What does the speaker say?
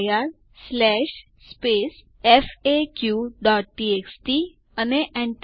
અહીં આપણે group IDs જોઈ શકીએ છીએ